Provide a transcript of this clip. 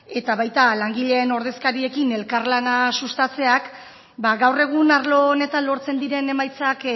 eta baita langileen ordezkariekin elkarlana sustatzeak ba gaur egun arlo honetan lortzen diren emaitzak